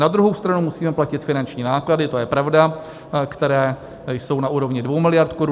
Na druhou stranu musíme platit finanční náklady, to je pravda, které jsou na úrovni 2 miliard korun.